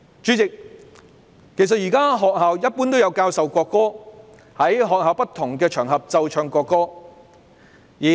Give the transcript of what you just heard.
主席，學校現時一般有教授國歌，也有在學校不同場合奏唱國歌。